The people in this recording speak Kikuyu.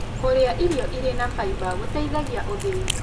Kũrĩa irio ĩrĩ na faĩba gũteĩthagĩa ũthĩĩ